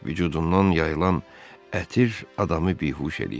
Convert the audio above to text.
Vücudundan yayılan ətir adamı bihuş eləyirdi.